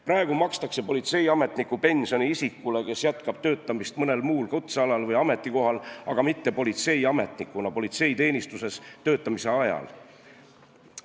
Praegu makstakse politseiametniku pensioni isikule, kes jätkab töötamist mõnel muul kutsealal või ametikohal, aga mitte politseiametnikuna politseiteenistuses töötamise ajal.